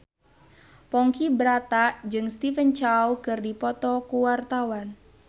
Ponky Brata jeung Stephen Chow keur dipoto ku wartawan